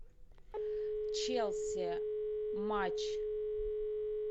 челси матч